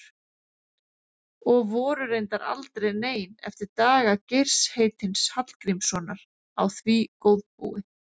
Og voru reyndar aldrei nein eftir daga Geirs heitins Hallgrímssonar á því góðbúi.